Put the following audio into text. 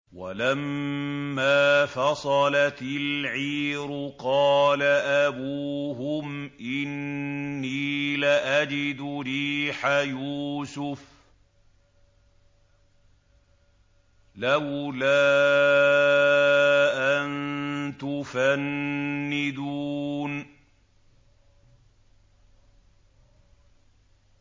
وَلَمَّا فَصَلَتِ الْعِيرُ قَالَ أَبُوهُمْ إِنِّي لَأَجِدُ رِيحَ يُوسُفَ ۖ لَوْلَا أَن تُفَنِّدُونِ